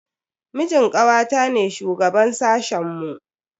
Mijin kawata ne shugaban sashen mu.